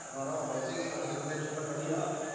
ਨਾ ਨਾ ਵੈਸੇ ਹੀ ਕਹਿੰਦਾ ਮੈਂ ਤੈਨੂੰ ਟੈਨਸ਼ਨ ਤਾਂ ਕਾਹਦੀ ਆ